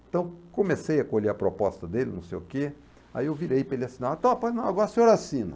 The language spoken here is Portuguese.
Então comecei a colher a proposta dele, não sei o quê, aí eu virei para ele assinar agora o senhor assina.